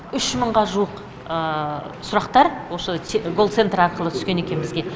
үш мыңға жуық сұрақтар осы колл центр арқылы түскен екен бізге